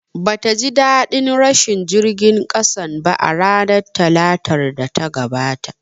Bata ji ɗaɗin rashin jirgin ƙasan ba a ranar Talatar da ta gabata